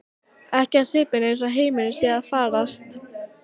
Ekki á svipinn eins og heimurinn sé að farast.